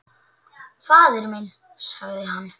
Faðir minn, sagði hann.